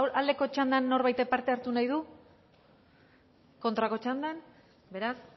aldeko txandan norbaitek parte hartu nahi du kontrako txandan beraz